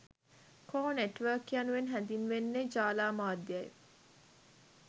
කෝ නෙට්වර්ක් යනුවෙන් හැඳින්වෙන්නේ ජාල මධ්‍යයයි